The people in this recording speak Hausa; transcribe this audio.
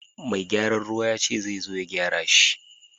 Mai gyaran ruwa yace zai zo ya gyara shi.